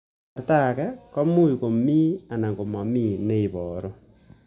Eng' kasarta ag'e ko much ko mii anan komamii ne ibaru